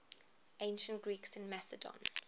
ancient greeks in macedon